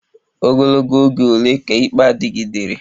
Ogologo oge ole ka ikpe a dịgidere?